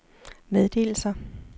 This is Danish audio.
meddelelser